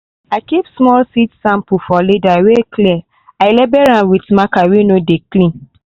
i keep small seed sample for leather wey clear i label am with marker weh no de clean.